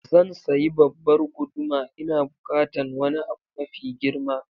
Zan sayi babbar guduma, Ina bukatan wani abu mafi girma.